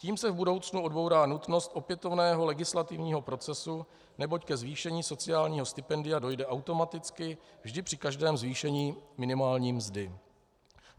Tím se v budoucnu odbourá nutnost opětovného legislativního procesu, neboť ke zvýšení sociálního stipendia dojde automaticky vždy při každém zvýšení minimální mzdy.